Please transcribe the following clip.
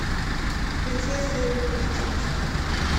принцесса и лягушка поставь